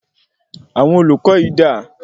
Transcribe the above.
Àwọn olùkọ yín dà?